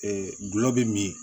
gulɔ bɛ min